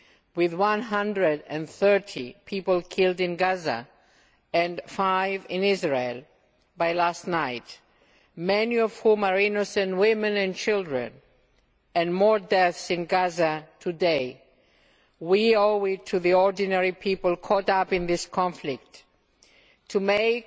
With 130 people killed in Gaza and five in Israel up to last night, many of them women and children, and more deaths in Gaza today, we owe it to the ordinary people caught up in this conflict to make